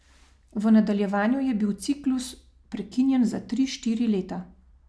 V nadaljevanju je bil ciklus prekinjen za tri, štiri leta.